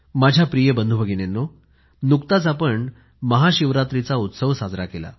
माझ्या प्रिय बंधू भगिनीनो आताच आपण महाशिवरात्रीचा उत्सव साजरा केला